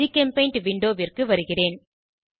ஜிகெம்பெய்ண்ட் விண்டோவிற்கு வருகிறேன்